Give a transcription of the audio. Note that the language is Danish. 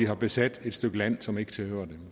har besat et stykke land som ikke tilhører